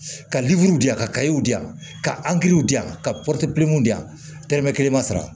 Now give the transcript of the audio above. Ka di yan ka di yan ka di yan ka di yan tɛrɛmɛ kelen ma sara